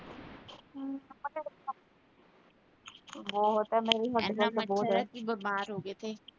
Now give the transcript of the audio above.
ਬਹੁਤ ਆ, ਮੇਰੇ ਵੀ ਵੱਢਦਾ ਪਿਆ ਬਹੁਤ ਆ